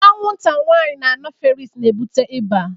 Anwụnta nwanyị anofeles na ebute ịba